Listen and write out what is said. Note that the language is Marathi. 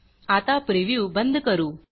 आता प्रिव्ह्यू बंद करू